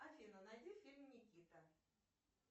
афина найди фильм никита